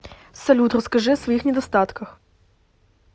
салют расскажи о своих недостатках